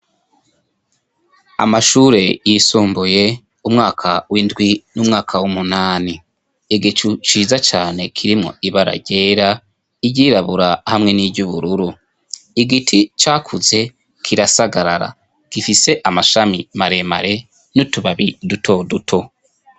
amashure yisumbuye umwaka w'indwi n'umwaka w'umunani igicu ciza cyane kirimwo ibara ryera iyirabura hamwe n'iby'ubururu igiti cyakuze kirasagarara gifise amashami maremare n'utubabi duto duto